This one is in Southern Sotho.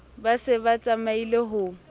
ba se ba tsamaile ho